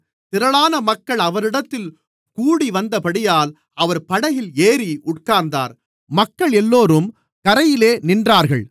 திரளான மக்கள் அவரிடத்தில் கூடிவந்தபடியால் அவர் படகில் ஏறி உட்கார்ந்தார் மக்களெல்லோரும் கரையிலே நின்றார்கள்